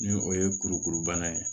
Ni o ye kurukuru bana ye